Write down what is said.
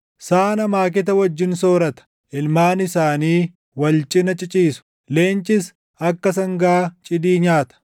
Saan amaaketa wajjin soorata; ilmaan isaanii wal cina ciciisu; leencis akka sangaa cidii nyaata.